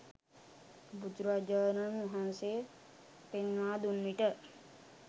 බුදුරජාණන් වහන්සේ පෙන්වා දුන් විට